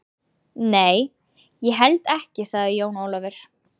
Nei, ég held ekki, sagði Jón Ólafur.